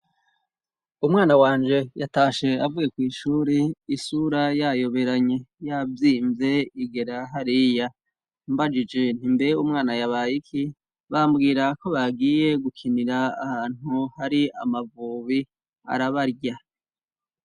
Umwana wanje yatashe avuye kw'ishuri, isura yayoberanye, yavyimve igera hariya. Mbajije nti mbe umwana yabaye iki, bambwira ko bagiye gukinira ahantu hari amavubi arabarya.